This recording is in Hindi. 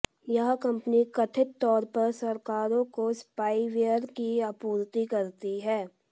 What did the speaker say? यह कंपनी कथित तौर पर सरकारों को स्पाईवेयर की आपूर्ति करती है